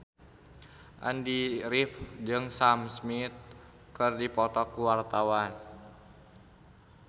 Andy rif jeung Sam Smith keur dipoto ku wartawan